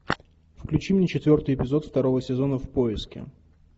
включи мне четвертый эпизод второго сезона в поиске